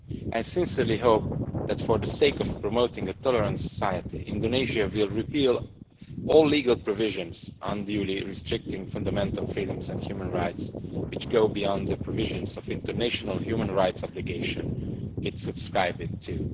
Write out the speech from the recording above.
I sincerely hope that, for the sake of promoting a tolerant society, Indonesia will repeal all legal provisions unduly restricting fundamental freedoms and human rights, which go beyond the provisions of the international human rights obligations it subscribed to.